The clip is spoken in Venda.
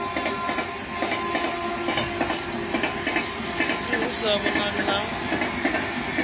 nzwii hu sa vhonali na